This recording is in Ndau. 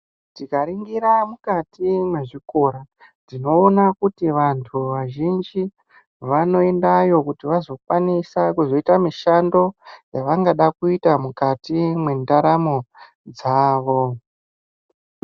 Tikaringira mukati mezvikora tinoona kuti vantu vazhinji vanoyendayo kuti vazokwanisa kuzoita mishando yavanoda kuita mukati mengaramo dzavo